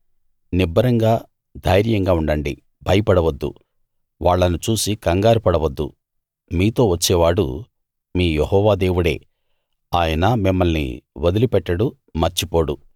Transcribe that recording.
నిబ్బరంగా ధైర్యంగా ఉండండి భయపడవద్దు వాళ్ళను చూసి కంగారు పడవద్దు మీతో వచ్చేవాడు మీ యెహోవా దేవుడే ఆయన మిమ్మల్ని వదిలిపెట్టడు మర్చిపోడు